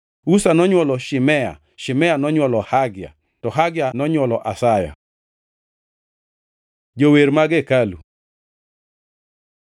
Uza nonywolo Shimea, Shimea nonywolo Hagia, to Hagia nonywolo Asaya. Jower mag hekalu